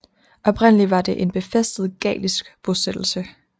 Oprindelig var det en befæstet gallisk bosættelse